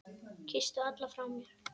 Kysstu alla frá mér.